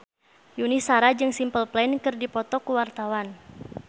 Yuni Shara jeung Simple Plan keur dipoto ku wartawan